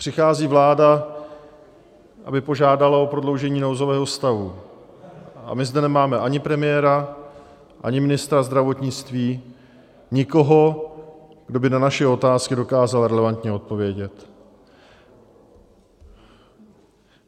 Přichází vláda, aby požádala o prodloužení nouzového stavu, a my zde nemáme ani premiéra, ani ministra zdravotnictví, nikoho, kdo by na naše otázky dokázal relevantně odpovědět.